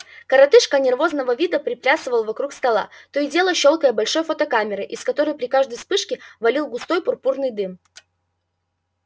коротышка нервозного вида приплясывал вокруг стола то и дело щёлкая большой фотокамерой из которой при каждой вспышке валил густой пурпурный дым